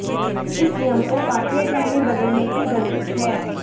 इस नियम को पाठ्यक्रम में बदलने की जरूरत है